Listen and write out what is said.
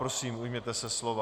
Prosím, ujměte se slova.